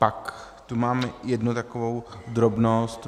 Pak tu mám jednu takovou drobnost.